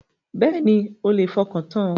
Bẹ́ẹ̀ni, ẹ lè fọkàntan.